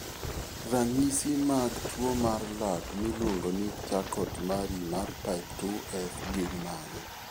Ranyisi mag tuwo mar lak miluongo ni Charcot Marie mar type 2F gin mage?